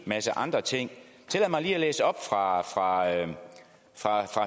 masse andre ting tillad mig lige at læse op fra